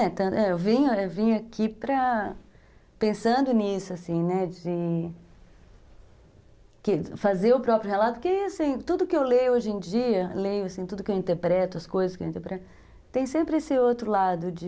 Eu vim vim aqui pensando nisso, assim, né, de fazer o próprio relato, porque tudo que eu leio hoje em dia, tudo que eu interpreto, as coisas que eu interpreto, tem sempre esse outro lado de...